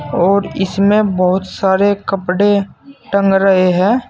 और इसमें बहोत सारे कपड़े टंग रहे हैं।